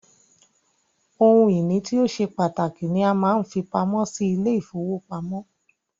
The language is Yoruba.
Ohun ìní tí o ṣe pàtàkì ni a máa ń fi pamọ́ sí ilé -ìfowópamọ́